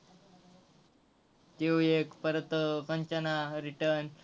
त्यो एक, परत कंचना return